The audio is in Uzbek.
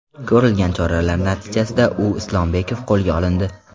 Ko‘rilgan choralar natijasida U. Islombekov qo‘lga olindi.